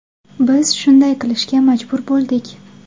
Biz shunday qilishga majbur bo‘ldik.